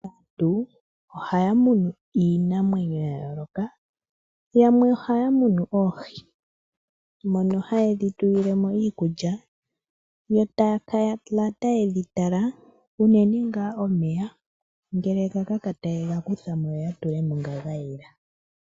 Aantu ohaya munu iinamwenyo ya yooloka. Yamwe ohaya munu oohi. Ohaya kala taye dhi tulile mo iikulya yo taya kala taye dhi tala unene ngaa omeya, ngele ga kaka taya tula mo ngoka ga yela.